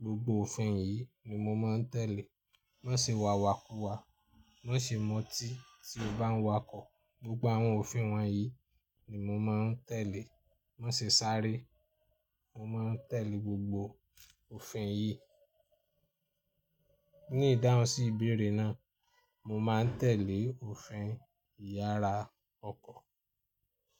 Gbogbo òfin yìí ni mo máa ń tẹ̀lé. Má ṣe wàwàkuwa, má ṣe mu otí tí o bá ń wakọ̀. Gbogbo àwọn òfin wọ̀nyí ni mo máa ń tẹ̀lé. Má ṣe sáré, mo máa ń tẹ̀lé gbogbo òfin yìí. Ní ìdáhùn sí ìbéèrè náà, mo máa ń tẹ̀lé òfin ìyára ọkọ̀